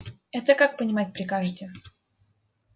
это как понимать прикажете